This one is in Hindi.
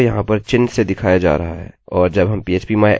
यह मेरे गेस्टबुकguestbookट्यूटोरियल से गेस्टबुक है